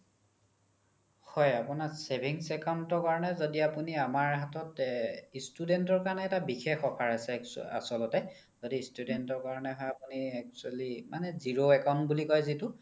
হয় আপোনাৰ savings account ৰ কাৰণে য্দি আপোনি আমাৰ হাতত student ৰ কাৰণে এটা বিশেষ offer আছে আচলতে য্দি student ৰ কাৰণে হ'ক আপোনি actually মানে zero account বুলি কই যিতো